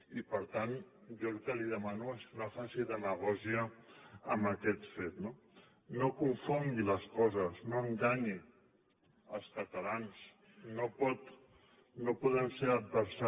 i per tant jo el que li demano és que no faci demagògia amb aquest fet no no confongui les coses no enganyi els catalans